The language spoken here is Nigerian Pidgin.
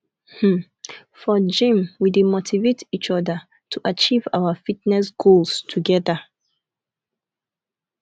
um for gym we dey motivate each other to achieve our fitness goals together